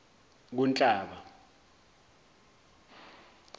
kunhlaba